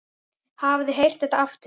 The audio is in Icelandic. Hafið þið heyrt þetta aftur?